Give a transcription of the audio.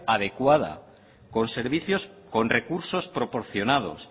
adecuada con servicios con recursos proporcionados